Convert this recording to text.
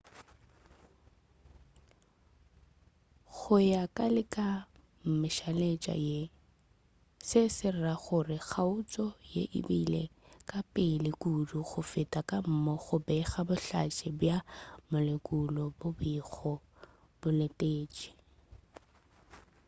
go ya ka le ka mešaletša ye se se ra gore kgaotšo ye e bile ka pele kudu go feta ka moo go bego bohlatse bja molekula bo bego bo letetše